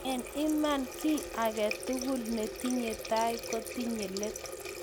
Eng Iman kiiy tugul netinye tai kotinye leet